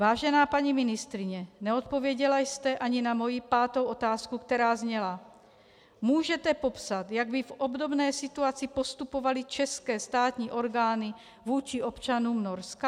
Vážená paní ministryně, neodpověděla jste ani na moji pátou otázku, která zněla: Můžete popsat, jak by v obdobné situaci postupovaly české státní orgány vůči občanům Norska?